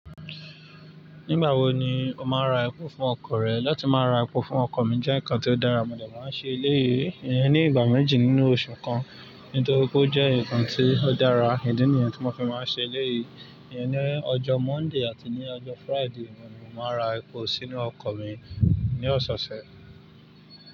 Nígbà wo ni o máa ń ra epo fún ọkọ̀ rẹ? Látí má ra epo fún ọkọ̀ mi jẹ́ nǹkan tó dára, mo dà máa ń ṣe éléyìí, ìyẹn ní ìgbà méjì nínú oṣù kan, nítorí pé ó jẹ́ nǹkan tí ó dára, ìdí nìyẹn tí mo fi máa ń ṣe éléyìí, ìyẹn ní ọjọ́ Monday àti ní ọjọ́ Friday ni mo máa n ra epo sínú ọkọ̀ mi ní ọ̀sẹ̀ẹ̀sẹ̀